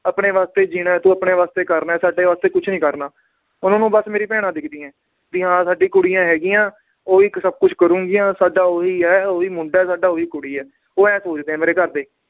ਆਪਣੇ ਵਾਸਤੇ ਜੀਣਾ ਏ ਤੂੰ ਆਪਣੇ ਵਾਸਤੇ ਕਰਨਾ ਏ ਸਾਡੇ ਵਾਸਤੇ ਕੁਛ ਨੀ ਕਰਨਾ, ਉਹਨਾਂ ਨੂੰ ਬੱਸ ਮੇਰੀ ਭੈਣਾਂ ਦਿਖਦੀਆਂ ਏ ਵੀ ਹਾਂ ਸਾਡੀ ਕੁੜੀਆਂ ਹੈਗੀਆਂ ਓਹੀ ਇੱਕ ਸਬ ਕੁਛ ਕਰੂੰਗੀਆਂ ਸਾਡਾ ਓਹੀ ਏ ਓਹੀ ਮੁੰਡਾ ਹੈ ਸਾਡਾ ਓਹੀ ਕੁੜੀ ਏ ਉਹ ਇਉਂ ਸੋਚਦੇ ਆ ਮੇਰੇ ਘਰਦੇ